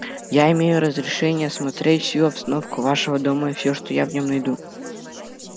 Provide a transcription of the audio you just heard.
я имею разрешение осмотреть всю обстановку вашего дома и все что я в нём найду